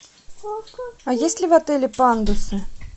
а есть ли в отеле пандусы